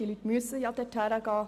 Die Leute müssen dorthin gehen.